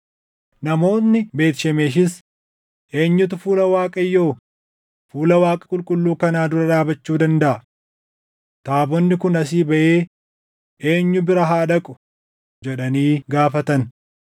namoonni Beet Shemeshis, “Eenyutu fuula Waaqayyoo, fuula Waaqa qulqulluu kanaa dura dhaabachuu dandaʼa? Taabonni kun asii baʼee eenyu bira haa dhaqu?” jedhanii gaafatan.